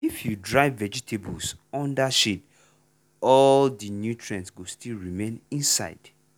if you dry vegetables under shade all the nutrients go still remain inside.